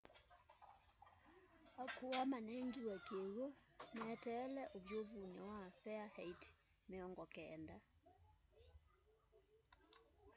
akuwa manengiwe kiw'u meteele uvyuvuni wa farenheit 90